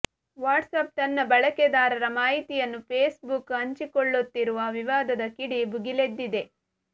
WhatsApp ತನ್ನ ಬಳಕೆದಾರರ ಮಾಹಿತಿಯನ್ನು ಫೇಸ್ಬುಕ್ ಹಂಚಿಕೊಳ್ಳುತ್ತಿರುವ ವಿವಾದದ ಕಿಡಿ ಭುಗಿಲೆದ್ದಿದೆ